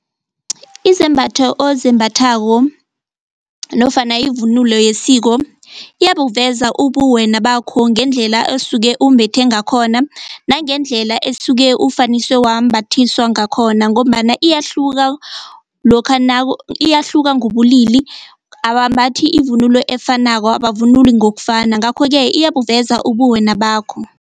Izembatho ozembathako nofana ivunulo yesiko iyabuveza ubuwena bakho ngendlela osuke umbethe ngakhona nangendlela esuke ofaniswe wambathiswa ngakhona ngombana iyahluka lokha iyahluka ngobubulili abambathi ivunulo efanako abavunuli ngokufana ngakho-ke iyabuveza ubuwena bakho.